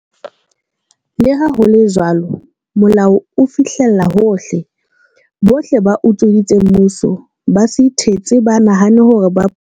Leha ho le jwalo, molao o fihlella hohle. Bohle ba utsweditseng mmuso, ba se ithetse ba nahane hore ba.